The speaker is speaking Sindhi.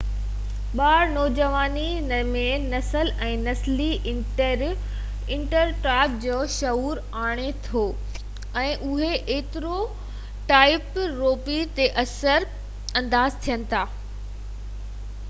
ٻار نوجواني ۾ نسل ۽ نسلي اسٽيريوٽائپ جا شعور آڻي ٿو ۽ اهي اسٽيريوٽائپ رويي تي اثر انداز ٿين ٿا